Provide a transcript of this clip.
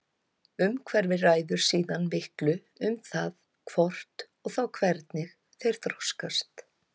Umhverfið ræður síðan miklu um það hvort og þá hvernig þeir þroskast.